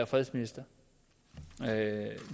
fredsminister